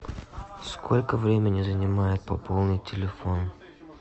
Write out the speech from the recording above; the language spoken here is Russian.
сколько времени занимает пополнить телефон